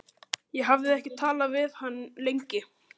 Ég hafði ekki talað við hann lengi.